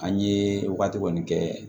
An ye wagati kɔni kɛ